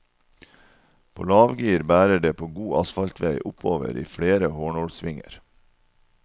På lavgir bærer det på god asfaltvei oppover i flere hårnålssvinger.